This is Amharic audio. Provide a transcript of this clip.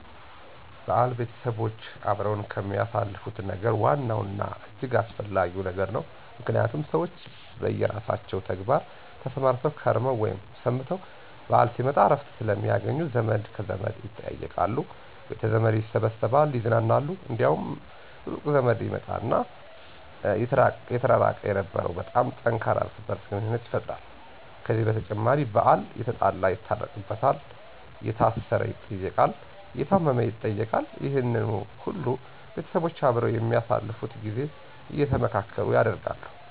በዓል ቤተሰቦች አብረው ከሚያሳልፉት ነገር ዋናው እና እጅግ አስፈለጊ ነገር ነው። ምክንያቱም ሰዎች በየራሳቸው ተግባር ተሰማርተው ከርመው ወይም ሰንብተው በዓል ሲመጣ እረፍት ስለሚያገኙ ዘመድ ከዘመድ ይጠያየቃሉ፤ ቤተዘመድ ይሰበሰባል ይዝናናሉ፤ እንዲያውም ሩቅ ዘመድም ይመጣና የተራራቀ የነበረው በጣም ጠንካራ እርስ በርስ ግንኙነት ይፈጠራል። ከዚህ በተጨማሪ በዓል የተጣላ ይታረቅበታል፤ የታሰረ ይጠየቃል፤ የታመም ይጠየቃል። ይህነ ሁሉ ቤተሰቦች አብረው በሚያሳልፉት ጊዜ አየተመካከሩ ያደርጋሉ።